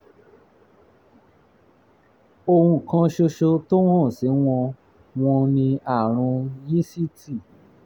ohun kan ṣoṣo tó hàn sí wọn wọn ni àrùn yíìsìtì